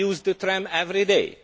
I use the tram every day.